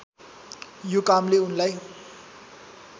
यो कामले उनलाई